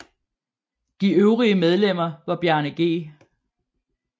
De øvrige medlemmer var Bjarne G